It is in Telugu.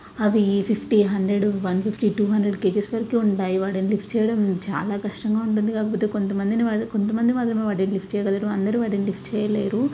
అవి fifty hundred two fifty KG వరకు ఉంటాయి. వాటిని లిఫ్ట్ చేయడం చాల కష్టం గ ఉంటాడ్డి. కొంతమంది మాత్రమే వాటిని లిఫ్ట్ చేస్తారు ఇంకొందరు లిఫ్ట్ చేయలేరు.